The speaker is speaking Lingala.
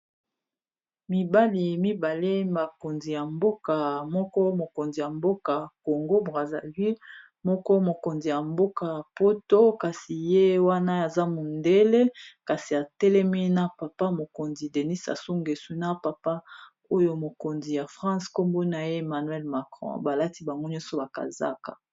mibali mibale makonzi ya mboka moko mokonzi ya mboka congo brasilui moko mokonzi ya mboka ya poto kasi ye wana aza mondele kasi atelemi na papa mokonzi denis asungesu na papa oyo mokonzi ya france nkombona ye manuell macron balati bamgo nyonso bakazaka